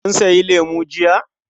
Kun sayi lemu jiya.